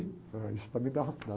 Ah, isso também dá